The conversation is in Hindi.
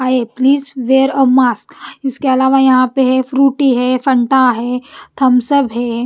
आए प्लीज वेयर अ मस्क इसके अलावा यहां पे है फ्रूटी है फंटा है थमसब है।